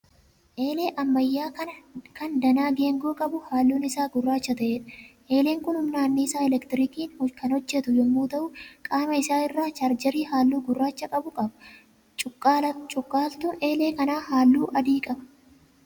Eelee ammayyaa kan danaa geengoo qabu halluun isaa gurraacha ta'eedha. Eeleen kun humna annisaa 'elektirikiin' kan hojjetu yemmuu ta'u qaama isaa irraa 'chaarjeerii' halluu gurraacha qabu qaba. Cuqqaaltuun eelee kanaa halluu adii qaba.